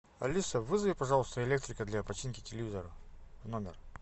алиса вызови пожалуйста электрика для починки телевизора в номер